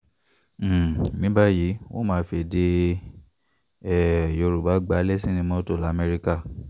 um ní báyìí wọn ò máa fèdè um yorùbá gbá lẹ̀sìnì mọ́tò lamẹ́ríkà